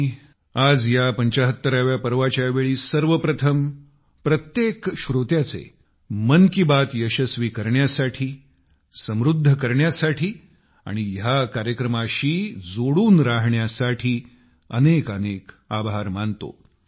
मी आज या 75 व्या पर्वाच्या वेळी सर्वप्रथम प्रत्येक श्रोत्याचे मन की बात यशस्वी करण्यासाठी समृद्ध करण्यासाठी आणि ह्या कार्यक्रमाशी जोडलेले राहण्यासाठी अनेक अनेक आभार मानतो